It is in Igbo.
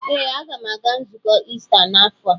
Ee, a ga m aga nzukọ Ista n'afọ a.